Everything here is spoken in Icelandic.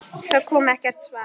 Það kom ekkert svar.